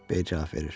B cavab verir.